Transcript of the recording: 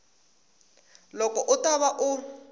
loko u ta va u